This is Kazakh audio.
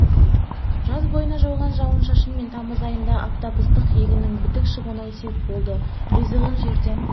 жаз бойына жауған жауын-шашын мен тамыз айындағы аптап ыстық егіннің бітік шығуына сеп болды ризығын жерден